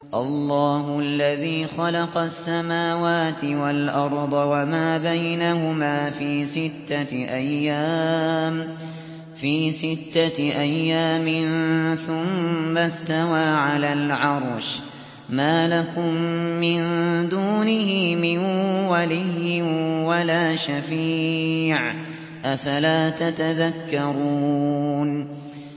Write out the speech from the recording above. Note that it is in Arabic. اللَّهُ الَّذِي خَلَقَ السَّمَاوَاتِ وَالْأَرْضَ وَمَا بَيْنَهُمَا فِي سِتَّةِ أَيَّامٍ ثُمَّ اسْتَوَىٰ عَلَى الْعَرْشِ ۖ مَا لَكُم مِّن دُونِهِ مِن وَلِيٍّ وَلَا شَفِيعٍ ۚ أَفَلَا تَتَذَكَّرُونَ